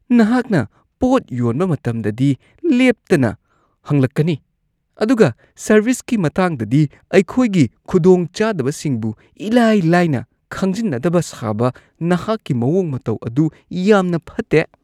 ꯅꯍꯥꯛꯅ ꯄꯣꯠ ꯌꯣꯟꯕ ꯃꯇꯝꯗꯗꯤ ꯂꯦꯞꯇꯅ ꯍꯪꯂꯛꯀꯅꯤ ꯑꯗꯨꯒ ꯁꯔꯕꯤꯁꯀꯤ ꯃꯇꯥꯡꯗꯗꯤ, ꯑꯩꯈꯣꯏꯒꯤ ꯈꯨꯗꯣꯡꯆꯥꯗꯕꯁꯤꯡꯕꯨ ꯢꯂꯥꯢ-ꯂꯥꯏꯅ ꯈꯪꯖꯤꯟꯅꯗꯕ ꯁꯥꯕ ꯅꯍꯥꯛꯀꯤ ꯃꯋꯣꯡ-ꯃꯇꯧ ꯑꯗꯨ ꯌꯥꯝꯅ ꯐꯠꯇꯦ ꯫ (ꯀꯁꯇꯃꯔ)